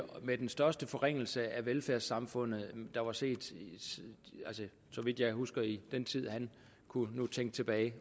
med den største forringelse af velfærdssamfundet der var set så vidt jeg husker i den tid han kunne tænke tilbage